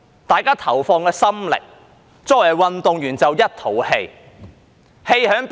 大家投放了心力，但作為運動員的卻一肚子氣。